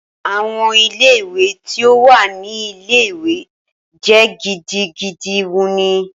Awọn ile-iwe ti o wa ni ile-iwe jẹ gidigidi wuni.